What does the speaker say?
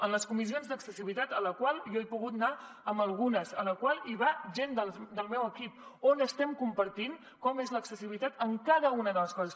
en les comissions d’accessibilitat a les quals he pogut anar a algunes a les quals va gent del meu equip on estem compartint com és l’accessibilitat en cada una de les coses